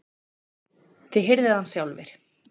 Þið hirðið hann sjálfir!